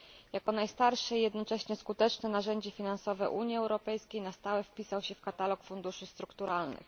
Jako najstarsze i jednocześnie skuteczne narzędzie finansowe Unii Europejskiej na stałe wpisał się w katalog funduszy strukturalnych.